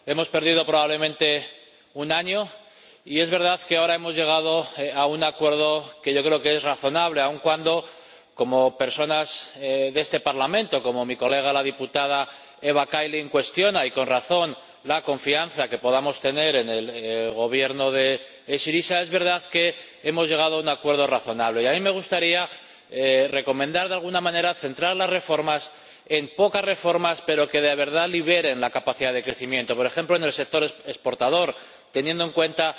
Hemos perdido probablemente un año y es verdad que ahora hemos llegado a un acuerdo que yo creo que es razonable aun cuando personas de este Parlamento —como mi colega, la diputada Eva Kaili— cuestionan, y con razón, la confianza que podamos tener en el Gobierno de Syriza, es verdad que hemos llegado a un acuerdo razonable. A mí me gustaría recomendar de alguna manera que las reformas se centren en unos pocos ámbitos que de verdad liberen la capacidad de crecimiento, por ejemplo en el sector exportador, teniendo en cuenta